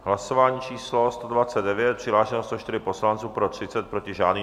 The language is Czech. Hlasování číslo 129, přihlášeno 104 poslanců, pro 30, proti žádný.